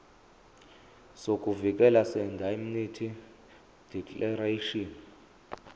sokuvikeleka seindemnity declaration